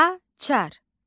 Açar.